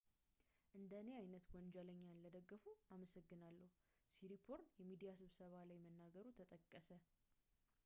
"እንደኔ ዓይነት ወንጀለኛን ለደገፉ አመሰግናለሁ፣ ሲሪፖርን የሚዲያ ስብሰባ ላይ መናገሩ ተጠቀሰ።